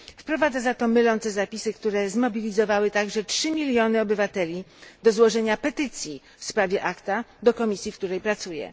Wprowadza za to mylące zapisy, które zmobilizowały także trzy miliony obywateli do złożenia petycji w sprawie ACTA do komisji, w której pracuję.